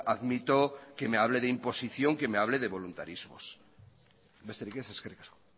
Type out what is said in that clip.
admito que me hable de imposición que me hable de voluntarismos besterik ez eskerrik asko